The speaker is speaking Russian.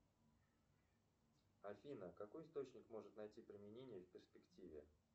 афина какой источник может найти применение в перспективе